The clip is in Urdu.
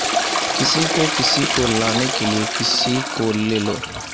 کسی کو کسی کو لانے کیلئے کسی کو لے لو